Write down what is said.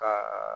Ka